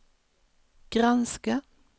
granska